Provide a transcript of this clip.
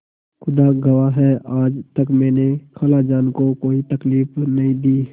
खुदा गवाह है आज तक मैंने खालाजान को कोई तकलीफ नहीं दी